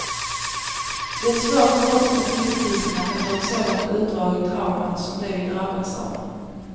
Det är svårt för oss att tillfriskna efter ett sådant utdraget trauma som det vi drabbats av.